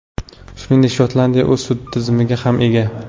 Shuningdek, Shotlandiya o‘z sud tizimiga ham ega.